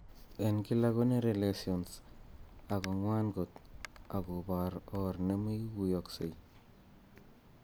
En kila konere lessions ago ngwan kot ago por or nemoiguyogsei.